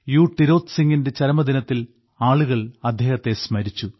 ടിരോത് സിംഗിന്റെ ചരമദിനത്തിൽ ആളുകൾ അദ്ദേഹത്തെ സ്മരിച്ചു